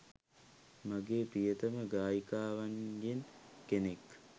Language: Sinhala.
මගේ ප්‍රියතම ගායිකාවන්ගෙන් කෙනෙක්